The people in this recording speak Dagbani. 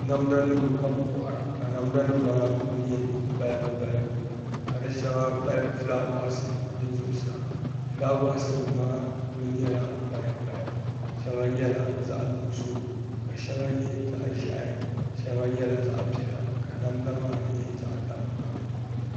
Namda nim ka bi kohara ka namda nim maa ku nyɛ balibu balibu ka di shɛŋa mali fulaawaasi di zuɣusaa fulaawaasi nim maa ku nyɛla paya paya shɛŋa nyɛla zaɣ nuɣso ka shɛŋa nyɛ zaɣ ʒiɛhi shɛŋa nyɛla zaɣ nuɣso ka namda maa nyɛ payapaya